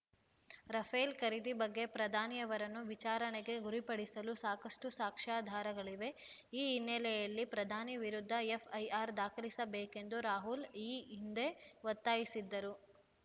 Rafale ಖರೀದಿ ಬಗ್ಗೆ ಪ್ರಧಾನಿಯವರನ್ನು ವಿಚಾರಣೆಗೆ ಗುರಿಪಡಿಸಲು ಸಾಕಷ್ಟು ಸಾಕ್ಷ್ಯಾಧಾರಗಳಿವೆ ಈ ಹಿನ್ನೆಲೆಯಲ್ಲಿ ಪ್ರಧಾನಿ ವಿರುದ್ಧ ಎಫ್‌ಐಆರ್ ದಾಖಲಿಸಬೇಕೆಂದು ರಾಹುಲ್ ಈ ಹಿಂದೆ ಒತ್ತಾಯಿಸಿದ್ದರು